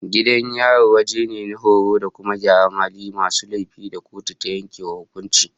Gidan yari wajen ne na horo da kuma gyaran halin masu laifi da kotu ta yanke wa hukunci